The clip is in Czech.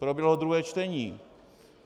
Proběhlo druhé čtení.